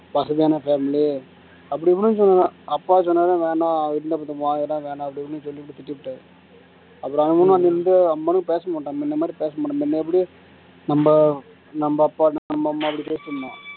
அப்படி இப்படின்னு சொல்லலாம் அப்பா சொன்னாருன்னா வேணாம் அது இல்லப்பட்ட இடம் அப்படி இப்படின்னு சொல்லிப்போட்டு திட்டிப்புட்டாரு அப்புறம் அனுமன் வந்து அம்மனும் பேச மாட்டான் முன்ன மாதிரி பேச மாட்டேங்குது எப்படி நம்ம நம்ம அப்பா நம்ம அம்மா அப்படி